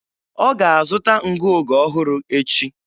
Ọ ga-azụ̀ta ngụoge ọhụrụ echi